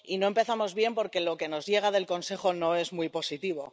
Y no empezamos bien porque lo que nos llega del Consejo no es muy positivo.